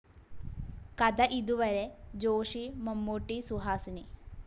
കഥ ഇതുവരെ ജോഷി മമ്മൂട്ടി, സുഹാസിനി